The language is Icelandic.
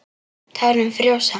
Tárin frjósa.